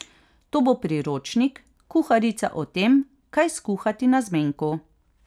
To bo priročnik, kuharica o tem, kaj skuhati na zmenku.